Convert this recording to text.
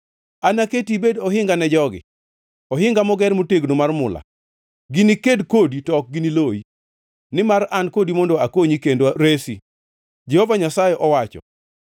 Anaketi ibed ohinga ne jogi, ohinga moger motegno mar mula; giniked kodi to ok gini loyi, nimar an kodi mondo akonyi kendo resi,” Jehova Nyasaye owacho.